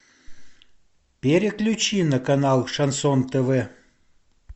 переключи на канал шансон тв